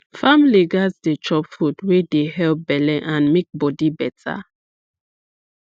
families gats dey chop food wey dey help belle and make body better